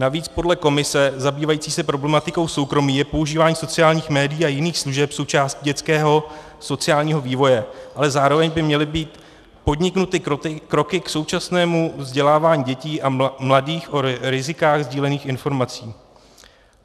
Navíc podle komise zabývající se problematikou soukromí je používání sociálních médií a jiných služeb součástí dětského sociálního vývoje, ale zároveň by měly být podniknuty kroky k současnému vzdělávání dětí a mladých o rizicích sdílených informací.